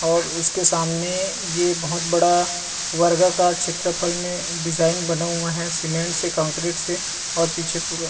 और उसके सामने ये बहोत बड़ा वर्गा कार क्षेत्र फल में डिज़ाइन बना हुआ है सीमेंट से कंक्रीट से और पीछे पूरा--